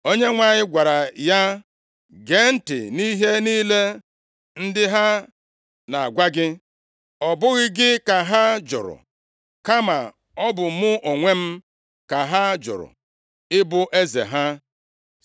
Onyenwe anyị gwara ya, “Gee ntị nʼihe niile ndị a na-agwa gị; ọ bụghị gị ka ha jụrụ, kama ọ bụ mụ onwe m ka ha jụrụ ibu eze ha.